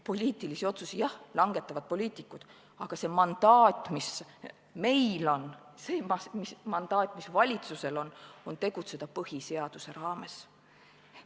Poliitilisi otsuseid jah langetavad poliitikud, aga see mandaat, mis meil on, see mandaat, mis valitsusel on, on tegutseda põhiseaduse raames.